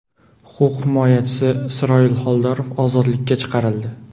Huquq himoyachisi Isroil Xoldorov ozodlikka chiqarildi.